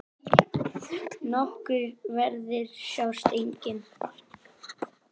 Nokkrir verðir sjást einnig.